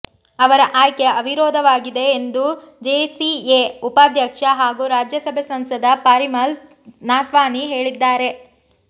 ಅವರ ಆಯ್ಕೆ ಅವಿರೋಧವಾಗಿದೆ ಎಂದು ಜಿಸಿಎ ಉಪಾಧ್ಯಕ್ಷ ಹಾಗೂ ರಾಜ್ಯಸಭೆ ಸಂಸದ ಪಾರಿಮಾಲ್ ನಾಥ್ವಾನಿ ಹೇಳಿದ್ದಾರೆ